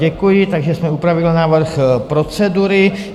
Děkuji, takže jsme upravili návrh procedury.